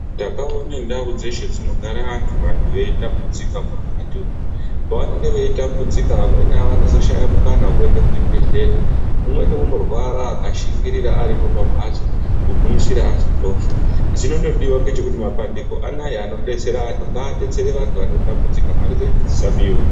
Ndakaone ndau dzeshe dzinogare vantu vantu veitambudzika mukati umu. Pavanenge veitambudzika vamweni vanozoshaya mukana wekuende kuzvibhedhlera. Umweni unorwara akashingirira aripo pambatso kugumishira azotofa. Chinondodiwa ngechekuti mapandiko anaya anodetsera vantu, ngaadetsere vantu vanotambudzika mare dzinedzi dzisabiwa.